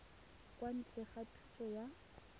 kwa ntle ga thuso ya